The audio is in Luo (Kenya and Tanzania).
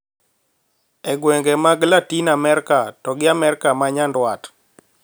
E gwenge mag Latin Amerka to gi Amerka ma nyandwat